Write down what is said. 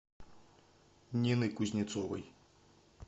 нины кузнецовой